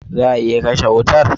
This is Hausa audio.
Za a iya kashe wutar?